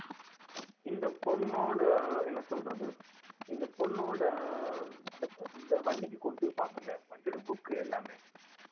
இந்த பொண்ணோட என்ன சொல்றது இந்த பொண்ணோட அந்த இந்த வண்டிக்கு கொடுத்திருப்பாங்கல்ல வண்டியோட book எல்லாமே